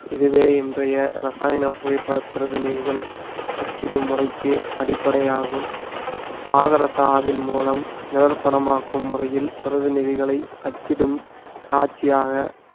இதுவே இன்றைய ரசாயன புகைப்பட பிரதிநிதிகள் அச்சிடும் முறைக்கு அடிப்படையாகும் பாதரசாவின் மூலம் நிழல் படமாக்கும் முறையில் பிரதி நிதிகளை அச்சிடும் காட்சியாக